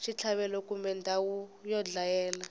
xitlhavelo kumbe ndhawu yo dlayela